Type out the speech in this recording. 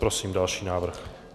Prosím další návrh.